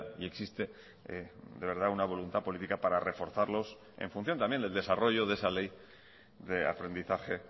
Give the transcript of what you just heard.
y existe de verdad una voluntad política para reforzarlos en función también del desarrollo de esa ley de aprendizaje